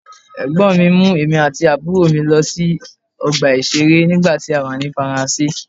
Ẹ̀gbọ́n mi mú èmi àti àbúrò mi lọ sí ọgbà ìṣeré nígbà tí a wà ní Faransé.